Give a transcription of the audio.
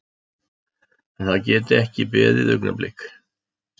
Að það geti ekki beðið augnablik.